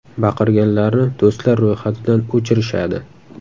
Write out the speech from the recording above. Baqirganlarni do‘stlar ro‘yxatidan o‘chirishadi.